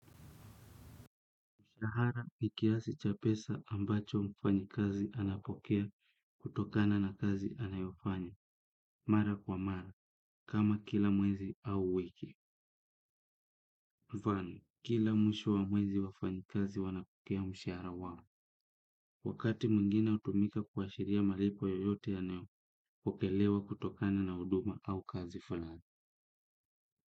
Mshahara ni kiasi cha pesa ambacho mfanyi kazi anapokea kutokana na kazi anayofanya mara kwa mara kama kila mwezi au kila wiki kwani kila mwisho wa mwezi wafanyi kazi wanapokea mshahara wao. Wakati mwingine hutumika kuashiria malipo yoyote yanayopokelewa kutokana na huduma au kazi fulani.